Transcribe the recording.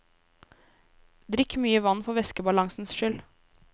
Drikk mye vann for væskebalansens skyld.